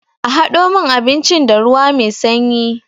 A hado min abincin da ruwa mai sanyi.